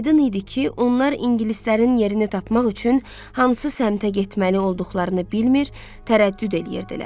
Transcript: Aydın idi ki, onlar ingilislərin yerini tapmaq üçün hansı səmtə getməli olduqlarını bilmir, tərəddüd eləyirdilər.